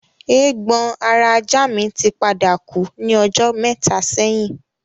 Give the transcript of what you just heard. Eégbon ara ajá mi tí padà kú ní ọjọ́ mẹ́ta sẹ́yìn